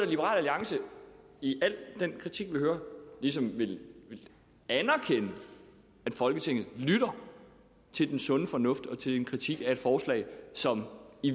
liberal alliance i al den kritik vi hører ligesom ville anerkende folketinget lytter til den sunde fornuft og til den kritik af forslaget som i